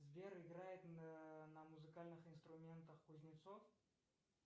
сбер играет на музыкальных инструментах кузнецов